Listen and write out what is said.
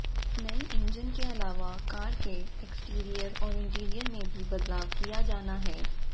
नए इंजन के अलावा कार के एक्सटीरियर और इंटीरियर में भी बदलाव किया जाना है